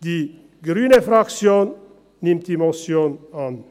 Die Fraktion Grüne nimmt die Motion an.